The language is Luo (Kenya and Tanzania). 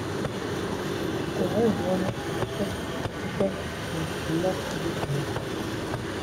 Kwaye ng’uono, kendo tem matek mondo ilok gik moko.